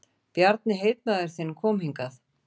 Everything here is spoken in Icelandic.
Bjarni heitmaður þinn kom hingað.